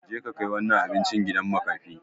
Je ka kai wannan abinci gidan makafi!